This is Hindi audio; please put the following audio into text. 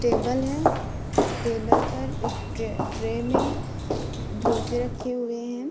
टेबल है टेबल पर एक ट्र ट्रे मै रखे हुए है।